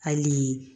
Hali